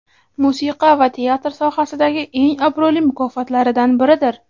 musiqa va teatr sohasidagi eng obro‘li mukofotlaridan biridir.